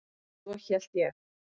Eða svo hélt ég.